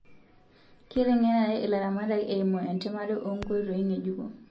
Keitengenare ilaramatak eimu entamare o nkoitoii ngejuko